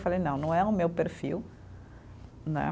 Eu falei, não, não é o meu perfil, né?